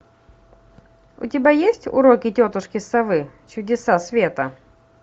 у тебя есть уроки тетушки совы чудеса света